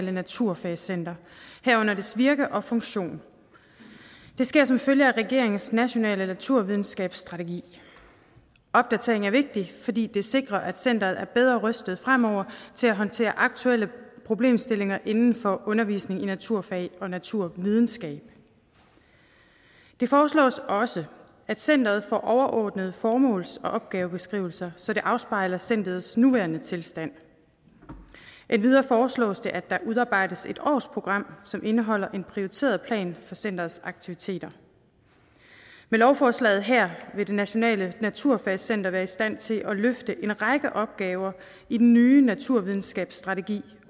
naturfagscenter herunder dets virke og funktion det sker som følge af regeringens national naturvidenskabsstrategi opdateringen er vigtig fordi det sikrer at centeret er bedre rustet fremover til at håndtere aktuelle problemstillinger inden for undervisning i naturfag og naturvidenskab det foreslås også at centeret får overordnede formåls og opgavebeskrivelser så det afspejler centerets nuværende tilstand endvidere foreslås det at der udarbejdes et årsprogram som indeholder en prioriteret plan for centerets aktiviteter med lovforslaget her vil det nationale naturfagscenter være i stand til at løfte en række opgaver i den nye naturvidenskabsstrategi